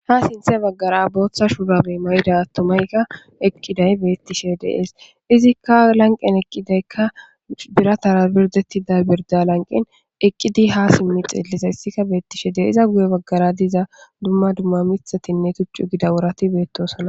Ha sinththe baggara booththa shuurabe mayida attomayka eqqiday beettishe dees izikka lanqen eqqidaykka biratara birdettida birda lanqen eqqidi ha simmi xiellisayssikka beettishe de'es guye baggara diza dumma dumma miththatinne tuchchu gida worati beettosona